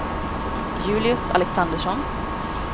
Julius Alexandersson